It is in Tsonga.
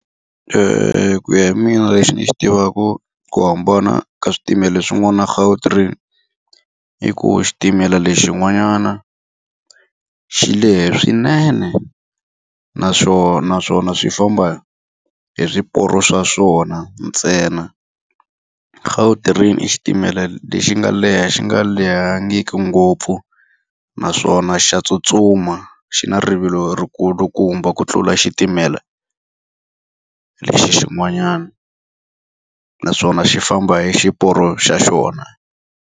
ku ya hi mina lexi ni xi tivaka ku hambana ka switimela swin'wana na Gautrain, i ku xitimela lexin'wanyana xi lehe swinene, naswona swi famba hi swiporo swa swona ntsena. Gautrain i xitimela lexi nga leha xi nga lehangiki ngopfu, naswona xa tsutsuma. Xi na rivilo ri kulukumba ku tlula xitimela lexi xin'wanyana. Naswona xi famba hi xiporo xa xona.